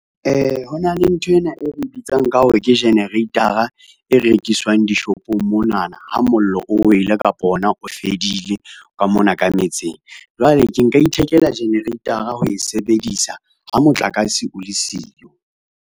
Ho na le nthwena e re bitsang ka hore ke generator-a, e rekiswang dishopong monana ha mollo o wele kapa ona o fedile ka mona ka metseng. Jwale ke nka ithekela generator-a ho e sebedisa ha motlakase o le siyo.